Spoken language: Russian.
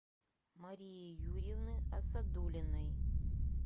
марии юрьевны асадуллиной